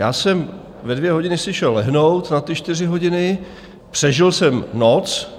Já jsem ve dvě hodiny si šel lehnout na ty čtyři hodiny, přežil jsem noc.